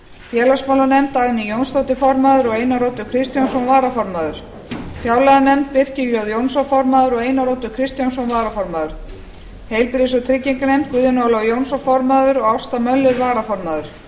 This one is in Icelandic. félagsmálanefnd dagný jónsdóttir formaður og einar oddur kristjánsson varaformaður fjárlaganefnd birkir j jónsson formaður og einar oddur kristjánsson varaformaður heilbr og trygginganefnd guðjón ólafur jónsson formaður og ásta möller varaformaður